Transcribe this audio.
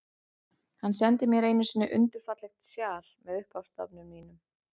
Hann sendi mér einu sinni undur fallegt sjal, með upphafsstafnum mínum.